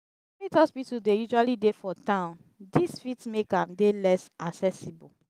private hospital dey usually dey for town this fit make am dey less accessible